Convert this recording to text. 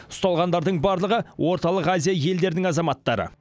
ұсталғандардың барлығы орталық азия елдерінің азаматтары